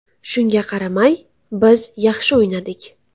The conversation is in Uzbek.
Shunga qaramay, biz yaxshi o‘ynadik.